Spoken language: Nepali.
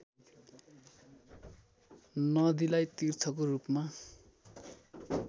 नदीलाई तीर्थको रूपमा